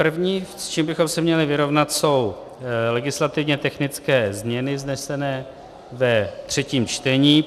První, s čím bychom se měli vyrovnat, jsou legislativně technické změny vznesené ve třetím čtení.